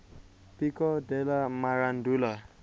pico della mirandola